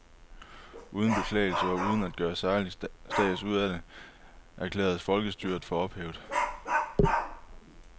Uden beklagelse og uden at gøre særlig stads ud af det, erklæres folkestyret for ophævet.